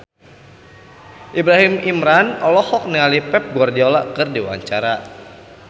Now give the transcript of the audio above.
Ibrahim Imran olohok ningali Pep Guardiola keur diwawancara